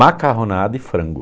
Macarronada e frango.